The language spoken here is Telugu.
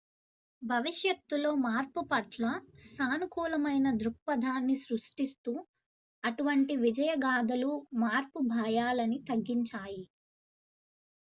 భవిష్యత్తులో మార్పుపట్ల సానుకూలమైన దృక్పధాన్ని సృష్టిస్తూ అటువంటి విజయగాథలు మార్పు భాయాలని తగ్గించాయి